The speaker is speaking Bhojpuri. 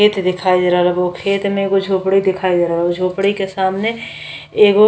खेत दिखाई दे रहल बा। ओ खेत में एगो झोपड़ी दिखाई दे रहल बा। झोपड़ी के सामने एगो --